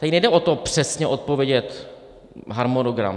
Tady nejde o to přesně odpovědět harmonogram.